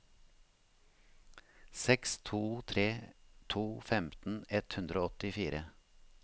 seks to tre to femten ett hundre og åttifire